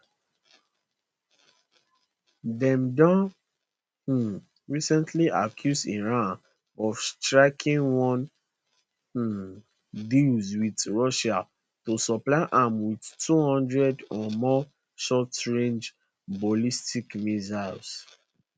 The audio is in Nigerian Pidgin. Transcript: dem don um recently accuse iran of striking one um deal wit russia to supply am wit 200 or more shortrange ballistic missiles